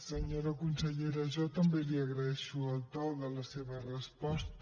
senyora consellera jo també li agraeixo el to de la seva resposta